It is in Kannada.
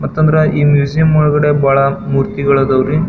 ಮತ್ತೋಂದ್ರೆ ಈ ಮ್ಯೂಸಿಯಂ ಒಳಗಡೆ ಬಹಳ್ ಮೂರ್ತಿಗಳು ಅದಾವ್ ರೀ.